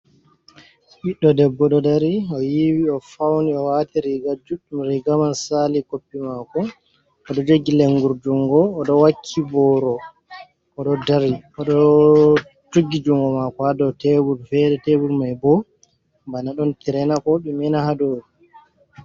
Ɓiɗdo debbo ɗo dari, o yiwi, o fauni, o waati riiga juɗɗum riiga man saali koppi maako, oɗo jogi lenguru jungo, oɗo wakki booro, oɗo jogi jungo maako ha dou tebul fere, tebul mai bo bana ɗon tire na ko ɗume na ha dou.